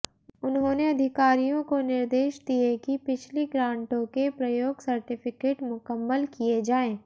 उन्होंने अधिकारियों को निर्देश दिए कि पिछली ग्रांटों के प्रयोग सर्टिफिकेट मुकम्मल किए जाएं